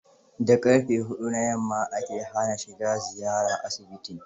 Da ƙarfe hudu na yamma ake hana shiga ziyara asibitin.